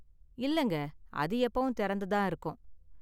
இல்லங்க, அது எப்பவும் திறந்து தான் இருக்கும்.